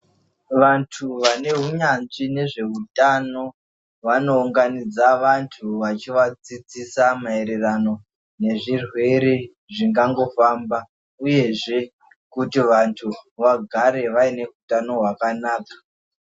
Vantu vanehunyanzvi ngezvehutano vanounganidza antu ,vechivadzidzisa maererano ngezvirwere zvingangofamba ,uyezve kuti vantu vagare vainehutano hwakanaka.